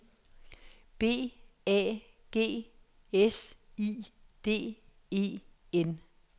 B A G S I D E N